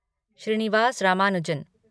Srinivas Ramanujan